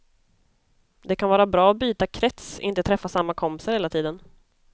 Det kan vara bra att byta krets, inte träffa samma kompisar hela tiden.